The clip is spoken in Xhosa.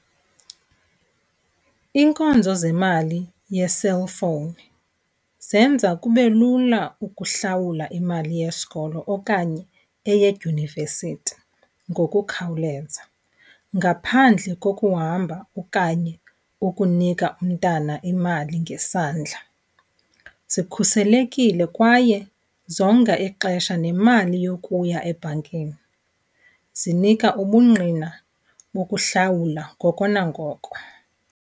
Iinkonzo zemali ye-cellphone zenza kube lula ukuhlawula imali yesikolo okanye eyedyunivesithi ngokukhawuleza ngaphandle kokuhamba okanye ukunika umntana imali ngesandla. Zikhuselekile kwaye zonga ixesha nemali yokuya ebhankini. Zinika ubungqina bokuhlawula ngoko nangoko.